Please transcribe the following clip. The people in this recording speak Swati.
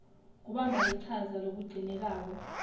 kubamba lichaza lokugcinekako